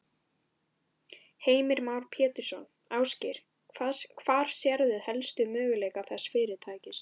Heimir Már Pétursson: Ásgeir, hvar sérðu helst möguleika þessa fyrirtækis?